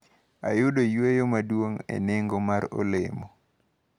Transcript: Ayudo yweyo maduong` e nengo mar olemo.